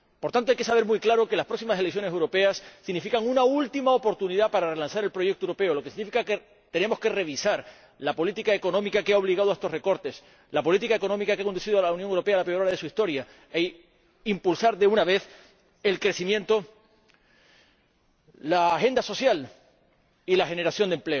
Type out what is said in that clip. Por tanto, hay que tener muy claro que las próximas elecciones europeas significan una última oportunidad para relanzar el proyecto europeo, lo que significa que tenemos que revisar la política económica que ha obligado a estos recortes, la política económica que ha conducido a la Unión Europea a la peor hora de su historia, e impulsar de una vez el crecimiento, la agenda social y la generación de